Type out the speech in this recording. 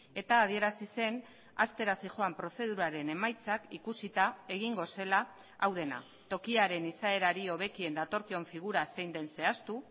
eta adierazi zen hastera zihoan prozeduraren emaitzak ikusita egingo zela hau dena tokiaren izaerari hobekien datorkion figura zein den zehaztu